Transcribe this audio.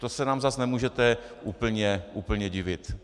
To se nám zase nemůžete úplně divit.